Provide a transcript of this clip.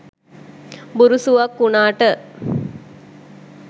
බුරුසුවක් උනාට